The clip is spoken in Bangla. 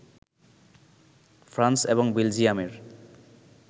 ফ্রান্স এবং বেলজিয়ামের